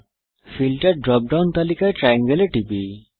filter drop down তালিকায় triangle এ টিপি